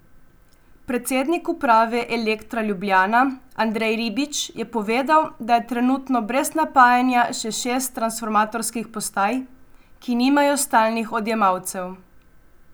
Predsednik uprave Elektra Ljubljana Andrej Ribič je povedal, da je trenutno brez napajanja še šest transformatorskih postaj, ki nimajo stalnih odjemalcev.